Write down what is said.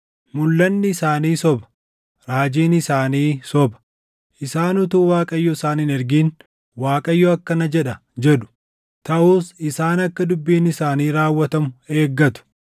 Mulʼanni isaanii soba; raajiin isaanii soba. Isaan utuu Waaqayyo isaan hin ergin, “ Waaqayyo akkana jedha” jedhu; taʼus isaan akka dubbiin isaanii raawwatamu eeggatu.